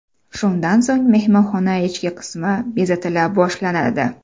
Shundan so‘ng mehmonxona ichki qismi bezatila boshlanadi.